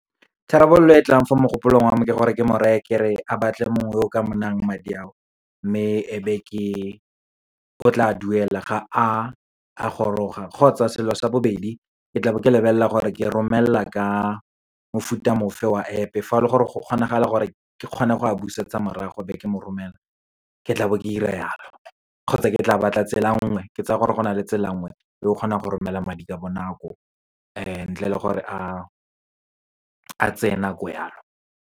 Tharabololo e e tlang fo mogopolong wa me ke gore, ke mo reye kere a batle mongwe o ka mo nayang madi ao. Mme o tla duela ga a goroga, kgotsa selo sa bobedi ke tla be ke lebelela gore ke romelela ka mofuta mo fe wa App-e, fa o le gore go kgonagala gore ke kgone go a busetsa morago, be ke mo romelela, ke tla be ke 'ira yalo. Kgotsa, ke tla batla tsela nngwe, ke tsaya gore go na le tsela nngwe e o kgonang go romela madi ka bonako, ntle le gore a tseye nako yalo.